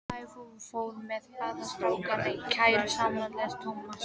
Þær fóru með báða strákana í kerru Samúels Tómassonar.